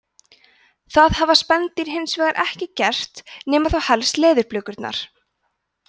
það hafa spendýrin hins vegar ekki gert nema þá helst leðurblökurnar